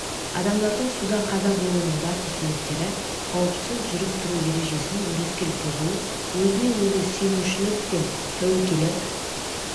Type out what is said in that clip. адамдардың суда қаза болуының басты себептері қауіпсіз жүріп-тұру ережесін өрескел бұзу өзіне өзі сенушілік пен тәуекелі